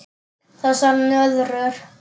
Þessar nöðrur!